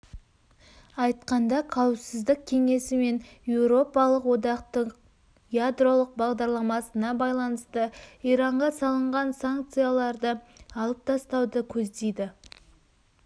айтқанда қауіпсіздік кеңесі пен еуропалық одақтың ядролық бағдарламасына байланысты иранға салынған санкцияларды алып тастауды көздейді